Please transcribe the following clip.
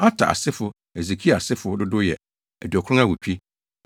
Ater asefo (Hesekia asefo) dodow yɛ 2 98 1